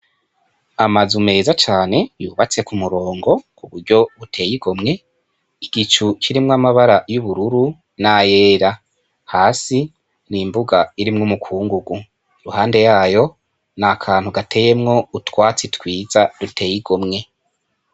Amazu meza cane yubatse ku murongo ku buryo buteye igomwe , igicu kirimwo amabara y'ubururu n'ayera hasi ni imbuga irimwo umukungugu iruhande yayo ni akantu gateyemwo utwatsi twiza duteye igomwe.